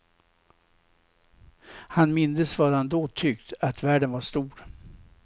Han mindes vad han då tyckt, att världen var stor.